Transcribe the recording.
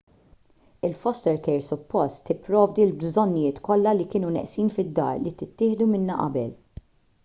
il-foster care suppost tipprovdi l-bżonnijiet kollha li kienu neqsin fid-dar li ttieħdu minnha qabel